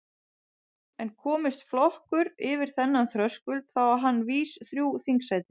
En komist flokkur yfir þennan þröskuld þá á hann vís þrjú þingsæti.